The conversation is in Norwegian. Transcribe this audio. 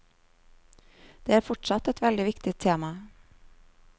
Det er fortsatt et veldig viktig tema.